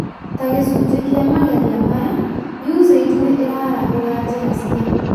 Ta gĩcunjĩ kĩa mageria maya, USAID nĩ ĩraarahũra njĩra cia